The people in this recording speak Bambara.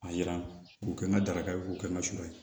A yira k'u kɛ n ka daraka ye k'u kɛ n ka sura ye